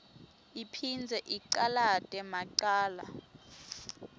iphindze icalate macala